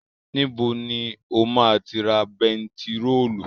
Níbo ni o ma ti ra bentiróòlù?